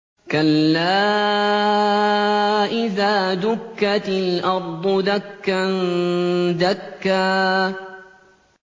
كَلَّا إِذَا دُكَّتِ الْأَرْضُ دَكًّا دَكًّا